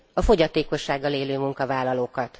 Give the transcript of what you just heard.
A fogyatékossággal élő munkavállalókat.